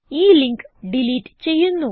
ഈ link delete ചെയ്യുന്നു